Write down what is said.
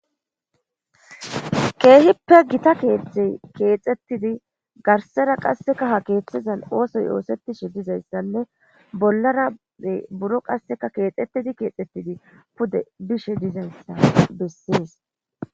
Keehippe gita keeththey keexetidi garssera qassi ha keethezas oothoy oosetishe dizayssanne bollara buro qasseka keexetidi keexetidi pude bishe dizayssa bessees.